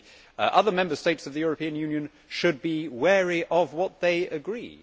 But the other Member States of the European Union should be wary of what they agree.